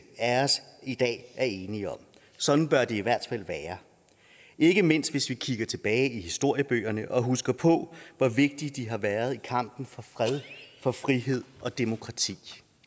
af os i dag er enige om sådan bør det i hvert fald være ikke mindst hvis vi kigger tilbage i historiebøgerne og husker på hvor vigtige de har været i kampen for fred for frihed og demokrati